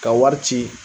Ka wari ci